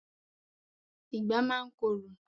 Ìgbá máa ń korò.